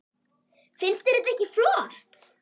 Finnst þér þetta ekki flott?